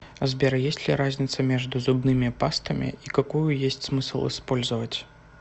сбер есть ли разница между зубными пастами и какую есть смысл использовать